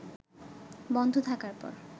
বন্ধ থাকার পর